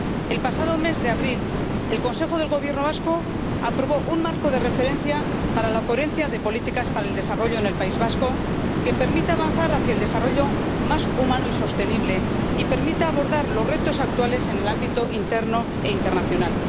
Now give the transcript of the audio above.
El pasado mes de abril el Consejo de Gobierno vasco aprobó un marco de referencia para la coherencia de las políticas para el desarrollo en el País Vasco que permita avanzar hacia un desarrollo más humano y sostenible y permita abordar los retos actuales en el ámbito interno e internacional.